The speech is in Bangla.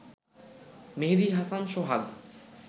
মেহেদি হাসান সোহাগ